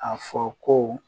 A fɔ ko